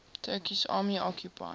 turkish army occupied